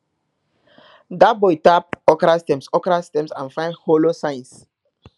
dat boy tap okra stems okra stems and find hollow signs